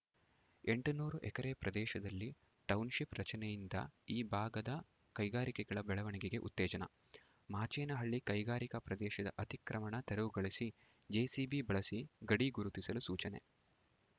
ಎಂಟುನೂರ ಎಕರೆ ಪ್ರದೇಶದಲ್ಲಿ ಟೌನ್‌ಶಿಪ್‌ ರಚನೆಯಿಂದ ಈ ಭಾಗದ ಕೈಗಾರಿಕೆಗಳ ಬೆಳವಣಿಗೆಗೆ ಉತ್ತೇಜನ ಮಾಚೇನಹಳ್ಳಿ ಕೈಗಾರಿಕಾ ಪ್ರದೇಶದ ಅತಿಕ್ರಮಣ ತೆರವುಗೊಳಿಸಿ ಜೆಸಿಬಿ ಬಳಸಿ ಗಡಿ ಗುರುತಿಸಲು ಸೂಚನೆ